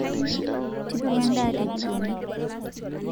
tipiku edaa te jikoni